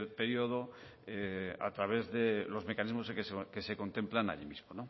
periodo a través de los mecanismos que se contemplan allí mismo